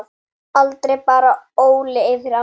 Aldrei bar Óli yfir ána.